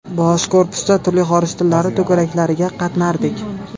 Bosh korpusda turli xorij tillari to‘garaklariga qatnardik.